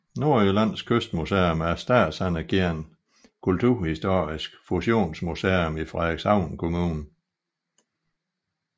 Nordjyllands Kystmuseum er et statsanerkendt kulturhistorisk fusionsmuseum i Frederikshavn Kommune